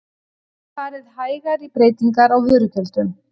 Farið hægar í breytingar á vörugjöldum